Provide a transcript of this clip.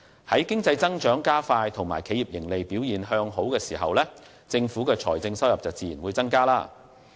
在經濟增長加快和企業盈利表現向好的情況下，政府的財政收入自然會增加。